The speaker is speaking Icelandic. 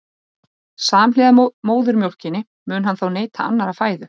Samhliða móðurmjólkinni mun hann þó neyta annarrar fæðu.